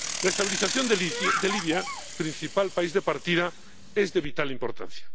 La estabilización de Libia, principal país de partida, es de vital importancia.